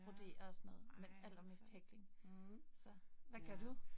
Ja, ej hvor sejt. Mh. Ja